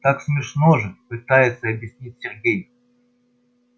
так смешно же пытается объяснить сергей